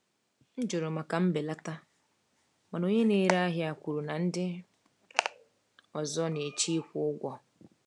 M jụrụ maka mbelata, mana onye na-ere ahịa kwuru na ndị ọzọ na-eche ịkwụ ụgwọ.